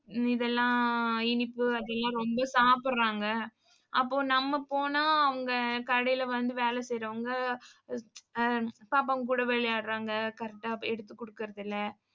இதெல்லாம் இனிப்பு அதெல்லாம் ரொம்ப சாப்பிடுறாங்க. அப்போ, நம்ம போனா அங்க கடையில வந்து வேலை செய்யறவங்க ஆஹ் பாப்பாங்க கூட விளையாடறாங்க correct ஆ எடுத்து குடுக்கறதில்லை.